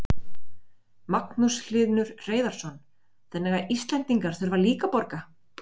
Magnús Hlynur Hreiðarsson: Þannig að Íslendingar þurfa líka að borga?